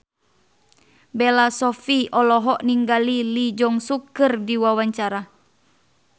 Bella Shofie olohok ningali Lee Jeong Suk keur diwawancara